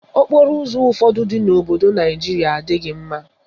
Okporoụzọ ụfọdụ dị n'obodo Naijiria adịghị mma.